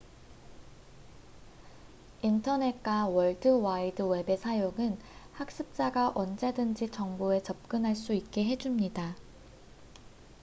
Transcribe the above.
인터넷과 월드와이드웹의 사용은 학습자가 언제든지 정보에 접근할 수 있게 해줍니다